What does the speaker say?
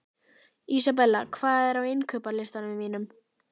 Isabella, hvað er á innkaupalistanum mínum?